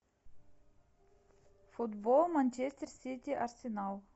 футбол манчестер сити арсенал